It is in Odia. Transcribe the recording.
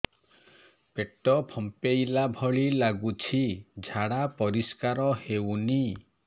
ପେଟ ଫମ୍ପେଇଲା ଭଳି ଲାଗୁଛି ଝାଡା ପରିସ୍କାର ହେଉନି